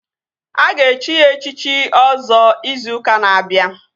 Aga echi ya echichi Ọzọ izu ụka na-abịa